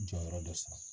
Jɔyɔrɔ dɔ san